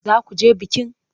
Za ku je bikin?